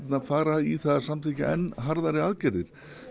fara í að samþykkja enn harðari aðgerðir